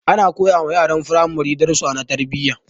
Ana koyawa yaran firamare darussa na tarbiyya